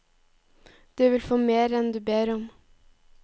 Du vil få mer enn du ber om.